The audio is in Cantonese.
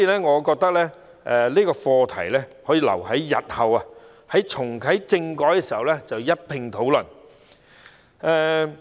我認為有關課題可以留待日後重啟政改時一併討論。